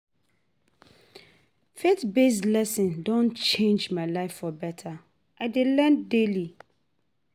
The faith-based lessons don change my life for better, I dey learn daily.